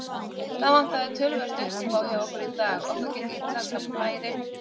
Það vantaði töluvert uppá hjá okkur í dag, okkur gekk illa að skapa færi.